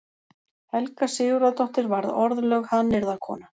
Helga Sigurðardóttir varð orðlögð hannyrðakona.